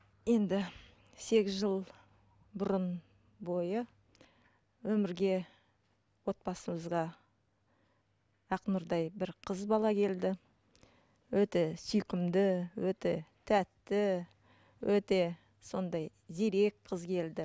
енді сегіз жыл бұрын бойы өмірге отбасымызға ақнұрдай бір қыз бала келді өте сүйкімді өте тәтті өте сондай зирек қыз келді